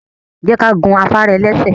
Je ka gun afara-elese